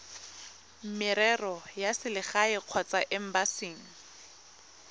merero ya selegae kgotsa embasing